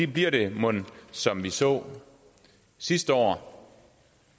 bliver det mon som vi så sidste år